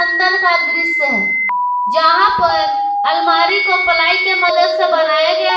अंदर का दृश्य है जहां पर अलमारी को पलाई की मदद से बनाया गया है।